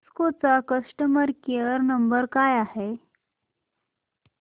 Cisco चा customer care number काय आहे